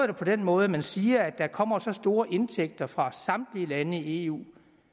det på den måde at man siger at der kommer store indtægter fra samtlige lande i eu